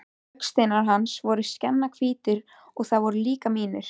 Augasteinar hans voru skjannahvítir og það voru mínir líka.